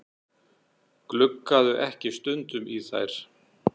Gluggarðu ekki stundum í þær?